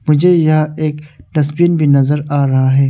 मुझे यहां एक डस्टबीन भी नज़र आ रहा है।